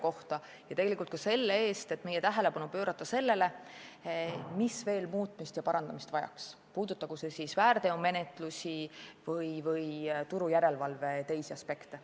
Ja tänan tegelikult ka selle eest, et meie tähelepanu pöörati sellele, mis veel muutmist ja parandamist vajaks, puudutagu see siis väärteomenetlusi või turu järelevalve teisi aspekte.